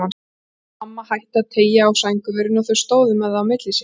Mamma hætti að teygja á sængurverinu og þau stóðu með það á milli sín.